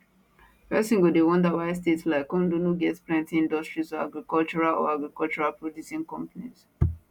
pesin go dey wonder why state like ondo no get plenti industries or agricultural or agricultural producing companies